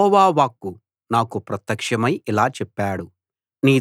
యెహోవా వాక్కు నాకు ప్రత్యక్షమై ఇలా చెప్పాడు